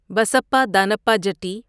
بسپا دانپہ جٹی